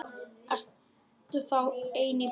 Ertu þá ein í bænum?